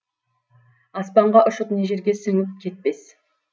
аспанға ұшып не жерге сіңіп кетпес